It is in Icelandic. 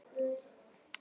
Þá var